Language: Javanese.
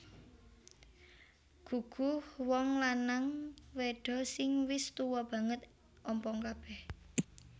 Guguh Wong lanang wedho sing wis tuwa banget ompong kabeh